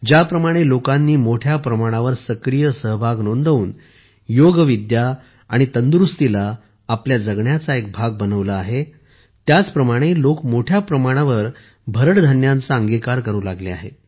ज्याप्रमाणे लोकांनी मोठ्या प्रमाणावर सक्रिय सहभाग नोंदवून योगविद्या आणि तंदुरूस्तीला आपल्या जगण्याचा एक भाग बनवले आहे त्याचप्रमाणे लोक मोठ्या प्रमाणावर भरड धान्यांचा अंगिकार करू लागले आहेत